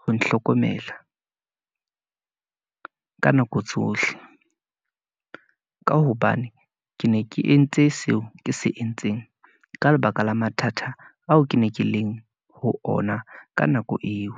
ho nhlokomela ka nako tsohle , ka hobane ke ne ke entse seo ke se entseng, ka lebaka la mathata ao ke ne ke leng ho ona ka nako eo.